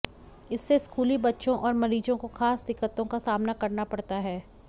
इससे स्कूली बच्चों और मरीजों को खास दिक्कतों का सामना करना पड़ता है